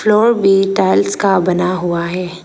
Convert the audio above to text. Floor भी tiles का बना हुआ है।